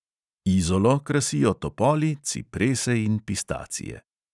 Izolo krasijo topoli, ciprese in pistacije.